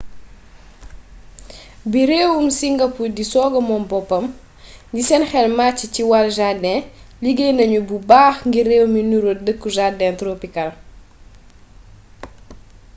bi réewum singapour di sooga moom boppam indépendance ñi seen xel màcci ci wàll jardin liggéey nañu bu baax ngir réew mi nuru dëkku jardin tropicale